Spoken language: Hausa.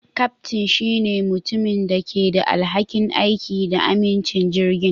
Kyaftin shine mutumin da ke da alhakin aiki da amincin jirgin.